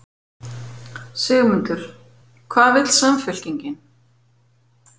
Sigmundur: Hvað vill Samfylkingin?